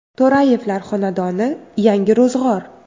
To‘rayevlar xonadoni yangi ro‘zg‘or.